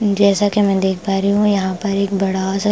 जैसा कि मैं देख पा रही हूं यहां पर एक बड़ा सा--